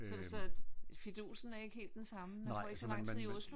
Sådan så at fidusen er ikke helt den samme man får ikke så lang tid i Oslo vel?